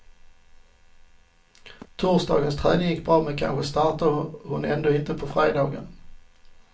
Torsdagens träning gick bra, men kanske startar hon ändå inte på fredagen.